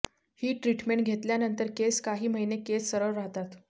ही treatment घेतल्यानंतर केस काही महिने केस सरळ रहातात